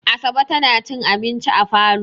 Asabe tana cin abinci a falo.